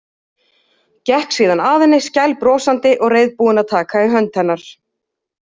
Gekk síðan að henni skælbrosandi og reiðubúin að taka í hönd hennar.